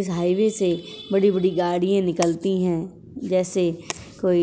इस हाईवे से बड़ी-बड़ी गाड़ियां निकलती है। जैसे कोई